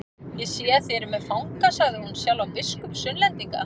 Ég sé þið eruð með fanga, sagði hún, sjálfan biskup Sunnlendinga.